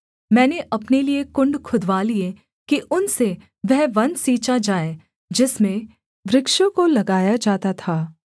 मैंने अपने लिये कुण्ड खुदवा लिए कि उनसे वह वन सींचा जाए जिसमें वृक्षों को लगाया जाता था